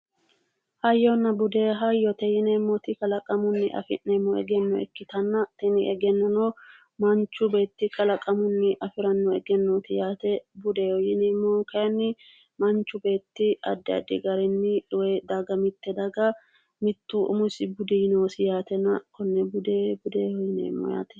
Hayyonna bude hayyote yineemmoti kalaqamunni afi'neemmo egenno ikkitanna tini egennono manchu beetti kalaqamunni afirannote yaate budeho yineemmohu kayeenni manchu beetti Addi Addi garinni daga mitte daga mittu umisi budi noosi yaate